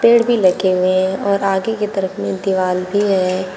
पेड़ भी लगे हुए हैं और आगे की तरफ दीवार भी है।